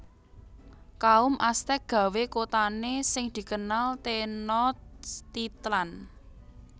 Kaum Aztèk gawé kotane sing dikenal Tenochtitlan